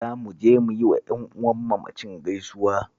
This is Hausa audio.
Za mu je mu yi wa ƴan'uwan mamacin gaisuwa